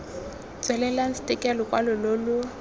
tswelelang stke lokwalo lo lo